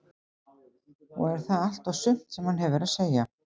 Og er það allt og sumt sem hann hefur að segja?